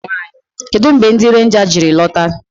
Kedụ mgbe ndị renja jiri lọta?